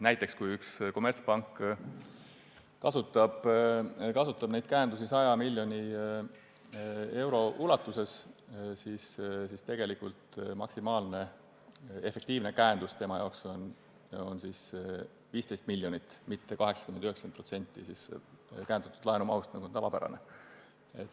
Näiteks kui üks kommertspank kasutab käendusi 100 miljoni euro ulatuses, siis tegelikult on maksimaalne efektiivne käendus tema puhul 15 miljonit, mitte 80–90% käendatud laenu mahust, nagu on tavapärane.